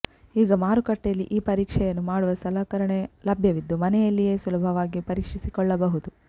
ಈಗ ಮಾರುಕಟ್ಟೆಯಲ್ಲಿ ಈ ಪರೀಕ್ಷೆಯನ್ನು ಮಾಡುವ ಸಲಕರಣೆ ಲಭ್ಯವಿದ್ದು ಮನೆಯಲ್ಲಿಯೇ ಸುಲಭವಾಗಿ ಪರೀಕ್ಷಿಸಿಕೊಳ್ಳಬಹುದು